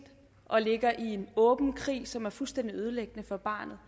og ligger i en åben krig som er fuldstændig ødelæggende for barnet